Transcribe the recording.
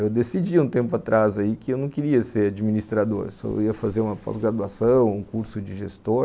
Eu decidi um tempo atrás que eu não queria ser administrador, eu só ia fazer uma pós-graduação, um curso de gestor,